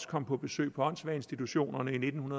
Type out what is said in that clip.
kom på besøg på åndssvageinstitutionerne i nitten